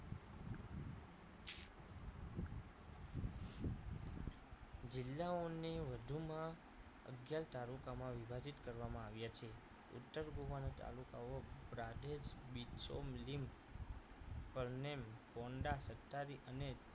જિલ્લાઓને વધુમાં અગિયાર તાલુકામાં વિભાજિત કરવામાં આવ્યા છે ઉત્તર ગોવાના તાલુકાઓ પ્રાંધેશ બિછોલીમ કરનેલ કોંઢા સત્તારી અને